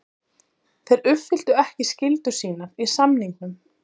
Þeir uppfylltu ekki skyldur sínar í samningnum.